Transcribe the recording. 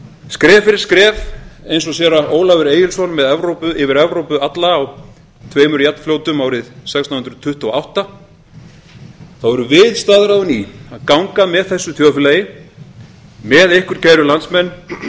skref fyrir skref eins og séra ólafur egilsson yfir evrópu alla á tveimur jafnfljótum árið sextán hundruð tuttugu og átta erum við staðráðin í að ganga með þessu þjóðfélagi með ykkur kæru landsmenn